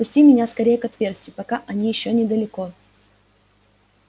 пусти меня скорее к отверстию пока они ещё недалеко